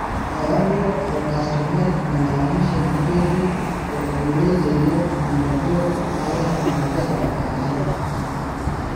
ewaa duo olkastomai malalamishi amu ketii olirerio enaduo aare nangira aar